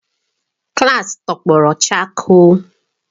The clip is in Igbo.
klaasị tọgbọrọ chakoo.